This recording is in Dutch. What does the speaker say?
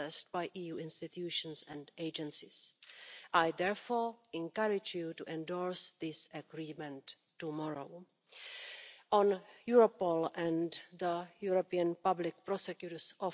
milieu. We springen bijzonder slordig om met het materiaal we produceren in de Europese Unie jaarlijks bijna 26 miljoen ton plastic afval maar zamelen slechts 30 daarvan in voor recyclage.